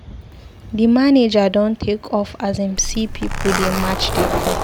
Di manager don take off as im see pipu dey match dey come.